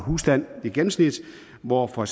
husstand i gennemsnit hvor for